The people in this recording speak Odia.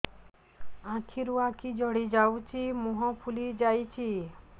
ଛୁଆର ଆଖି ଜଡ଼ି ଯାଉଛି ମୁହଁ ଫୁଲି ଯାଇଛି